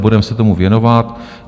Budeme se tomu věnovat.